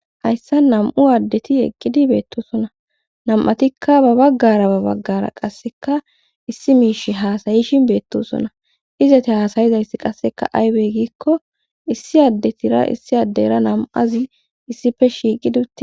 hayssa nam7u addeti eqqidi beettosona nam7atikka ba baggara ba baggara qasseka issi miish haasayishin beettosona izete haasayizayss qasseka aybey giikko issi addetira issi addera nam7azi issife shiiqidutte